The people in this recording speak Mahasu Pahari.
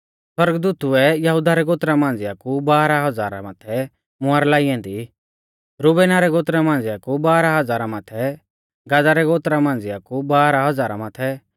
सौरगदूतु ऐ यहुदा रै गोत्रा मांझ़िआ कु बाराह हज़ारा माथै मुहर लाई ऐन्दी रुबेना रै गोत्रा मांझ़िया कु बाराह हज़ारा माथै गादा रै गोत्रा मांझ़िया कु बाराह हज़ारा माथै